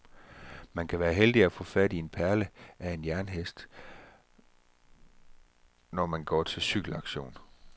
Man kan være heldig at få fat i en perle af en jernhest, når man går til cykelauktion.